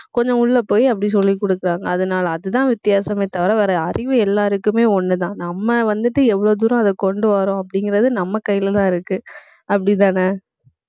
கொஞ்சம் உள்ள போய் அப்படி சொல்லிக் கொடுக்கிறாங்க. அதனால அதுதான் வித்தியாசமே தவிர வேற அறிவு எல்லாருக்குமே ஒண்ணுதான். நம்ம வந்துட்டு எவ்வளவு தூரம் அதை கொண்டு வர்றோம் அப்படிங்கிறது நம்ம கையிலதான் இருக்கு. அப்படிதானே